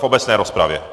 V obecné rozpravě.